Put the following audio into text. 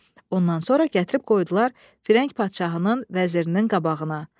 Ondan sonra gətirib qoydular Fərənk padşahının vəzirinin qabağına.